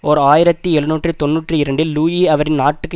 ஓர் ஆயிரத்தி எழுநூற்றி தொன்னூற்றி இரண்டில் லூயி அவரின் நாட்டுக்கு